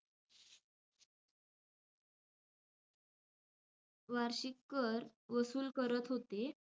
वार्षिक कर वसूल करत होते.